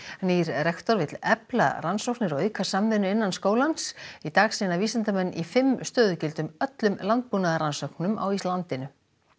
nýr rektor vill efla rannsóknir og auka samvinnu innan skólans í dag sinna vísindamenn í fimm stöðugildum öllum landbúnaðarrannsóknum á landinu